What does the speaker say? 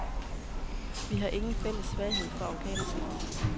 Vi har ingen fælles svaghed for afghanerpels.